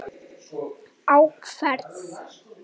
Á ferð